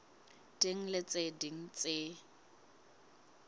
ding le tse ding tse